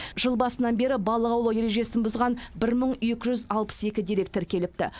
жыл басынан бері қарай балық аулау ережесін бұзған бір мың екі жүз алпыс екі дерек тіркеліпті